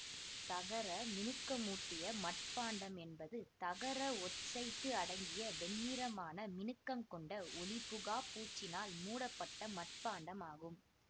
தகரமினுக்கமூட்டிய மட்பாண்டம் என்பது தகர ஒட்சைட்டு அடங்கிய வெண்ணிறமான மினுக்கம் கொண்ட ஒளிபுகாப் பூச்சினால் மூடப்பட்ட மட்பாண்டம் ஆகும்